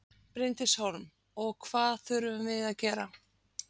Bryndís Hólm: Og hvað þurfum við að gera?